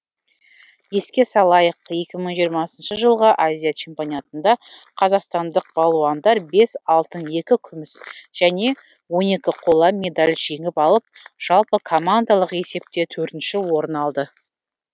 еске салайық екі мың жиырмасыншы жылғы азия чемпианатында қазақстандық балуандар бес алтын екі күміс және он екі қола медаль жеңіп алып жалпы командалық есепте төртінші орын алды